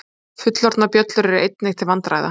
fullorðnar bjöllur eru einnig til vandræða